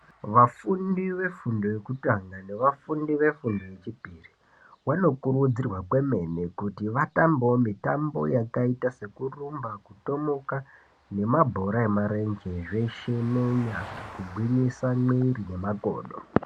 Vafundi vefundo yekutanga nevafundi vefundo yechipiri vanokurudzirwa kwemene kuti vatambewo mitambo yakaita sekurumba, kutomuka nemabhora emarenje zveshe nenyara kugwinyisa mwiri nemakodo.